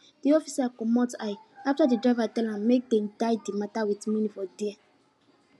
de officer commot eye after de driver tell am make dem die de mata with monie for there